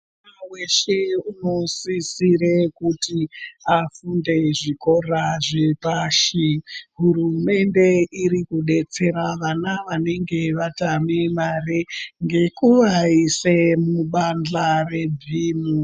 Mwana weshe munosisira kuti afunde zvikora zvikora zvepashi hurumende iri kudetsera vana vanenge vatame mare nekuvaisa mubahla rebhimu.